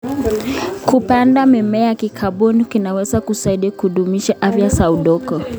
Kupanda mimea ya kikaboni kunaweza kusaidia kudumisha afya ya udongo.